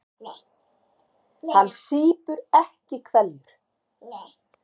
Hann sýpur ekki hveljur.